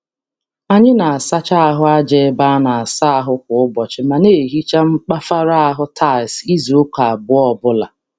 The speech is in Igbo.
Anyi na-asacha ahụ aja ebe a na-asa ahụ kwa ụbọchị ma na-ehicha mkpafara ahụ tiles izuụka abụọ ọbụla.